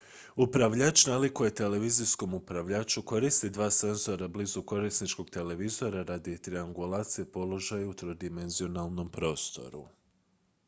upravljač nalikuje televizijskom upravljaču koristi dva senzora blizu korisničkog televizora radi triangulacije položaja u trodimenzionalnom prostoru